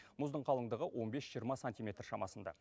мұздың қалыңдығы он бес жиырма сантиметр шамасында